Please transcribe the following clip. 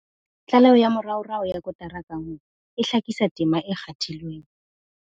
Tlaleho ya moraorao ya kotara ka nngwe e hlakisa tema e kgathilweng ke